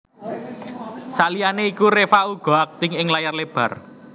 Saliyané iku Reva uga akting ing layar lebar